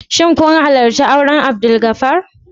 Shin kun halarci auren Abdulgafar?